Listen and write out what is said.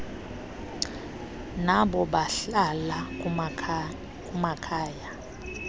nabo bahlala kumakhaya